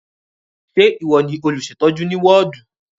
Ṣé ìwọ ni olùṣètọ́jú ní wọ́ọ̀dù?